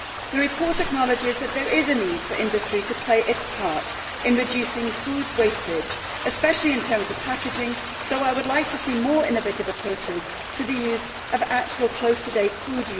The report acknowledges that there is a need for industry to play its part in reducing food wastage, especially in terms of packaging, though I would also like to see more innovative approaches to the actual use of close to date food.